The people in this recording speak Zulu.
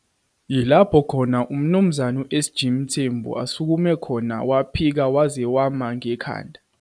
Yilapho khona uMnumzane SG Mthembu asukume khona waphika waze wama ngekhanda